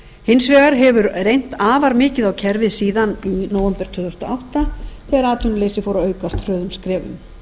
hins vegar hefur reynt afar mikið á kerfið síðan í nóvember tvö þúsund og átta þegar atvinnuleysi fór að aukast hröðum skrefum